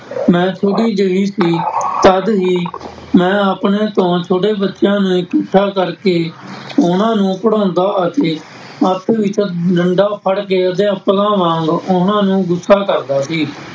ਮੈਂ ਛੋਟੀ ਜਿਹੀ ਸੀ ਤਦ ਹੀ ਮੈਂ ਆਪਣੇ ਤੋਂ ਛੋਟੇ ਬੱਚਿਆਂ ਨੂੰ ਇਕੱਠਾ ਕਰਕੇ ਉਹਨਾਂ ਨੂੰ ਪੜ੍ਹਾਉਂਦਾ ਅਤੇ ਹੱਥ ਵਿੱਚ ਡੰਡਾ ਫ਼ੜਕੇ ਅਧਿਆਪਕਾਂ ਵਾਂਗ ਉਹਨਾਂ ਨੂੰ ਗੁੱਸਾ ਕਰਦਾ ਸੀ।